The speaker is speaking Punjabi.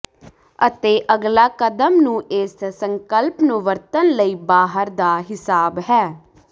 ਅਤੇ ਅਗਲਾ ਕਦਮ ਨੂੰ ਇਸ ਸੰਕਲਪ ਨੂੰ ਵਰਤਣ ਲਈ ਬਾਹਰ ਦਾ ਿਹਸਾਬ ਹੈ